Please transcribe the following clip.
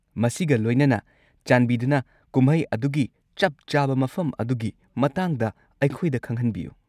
ꯃꯁꯤꯒ ꯂꯣꯏꯅꯅ, ꯆꯥꯟꯕꯤꯗꯨꯅ ꯀꯨꯝꯍꯩ ꯑꯗꯨꯒꯤ ꯆꯞ-ꯆꯥꯕ ꯃꯐꯝ ꯑꯗꯨꯒꯤ ꯃꯇꯥꯡꯗ ꯑꯩꯈꯣꯏꯗ ꯈꯪꯍꯟꯕꯤꯌꯨ꯫